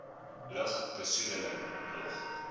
lug besoedeling nog